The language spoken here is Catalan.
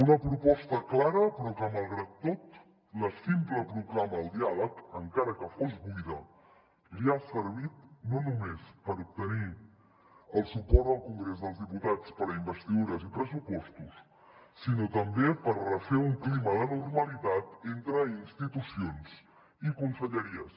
una proposta clara però que malgrat tot la simple proclama al diàleg encara que fos buida li ha servit no només per obtenir el suport al congrés dels diputats per a investidures i pressupostos sinó també per refer un clima de normalitat entre institucions i conselleries